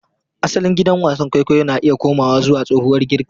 Asalin gidan wasan kwaikwayo na iya komawa zuwa tsohuwar Girka.